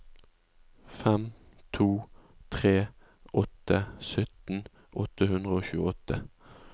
fem to tre åtte sytten åtte hundre og tjueåtte